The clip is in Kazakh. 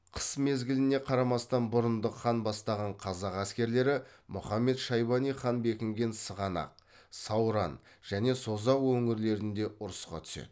қыс мезгіліне қарамастан бұрындық хан бастаған қазақ әскерлері мұхаммед шайбани хан бекінген сығанақ сауран және созақ өңірлерінде ұрысқа түседі